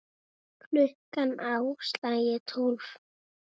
Klukkan á slaginu tólf.